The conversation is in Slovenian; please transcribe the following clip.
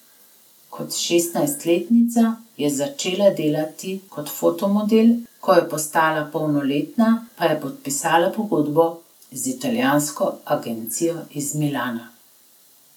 Kot šestnajstletnica je začela delati kot fotomodel, ko je postala polnoletna, pa je podpisala pogodbo z italijansko agencijo iz Milana.